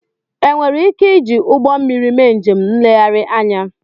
Ènwéré íké iji ụgbọ mmiri mé njém ńléghari ányà